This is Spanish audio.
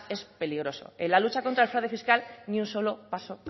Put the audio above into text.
es peligroso en la lucha contra el fraude fiscal ni un solo paso